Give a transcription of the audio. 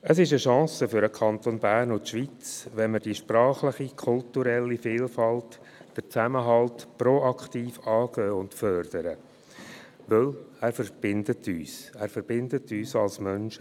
Es ist eine Chance für den Kanton Bern und die Schweiz, wenn wir die sprachliche, kulturelle Vielfalt, den Zusammenhalt proaktiv angehen und fördern, denn er verbindet uns, er verbindet uns als Menschen.